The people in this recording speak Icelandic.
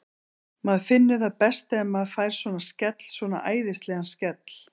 Maður finnur það best þegar maður fær svona skell, svona æðislegan skell.